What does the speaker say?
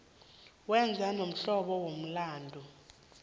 wenze lomhlobo womlandu